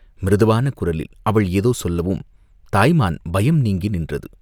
மிருதுவான குரலில் அவள் ஏதோ சொல்லவும் தாய் மான் பயம் நீங்கி நின்றது.